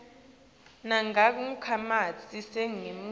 nangabe takhamiti taseningizimu